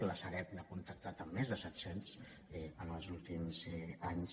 la sareb ha contactat amb més de set cents en els últims anys